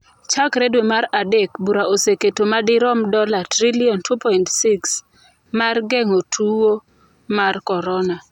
Chakre dwe mar Adek, bura oseketo madirom dola trilion 2.6 mar geng'o tuwo mar korona.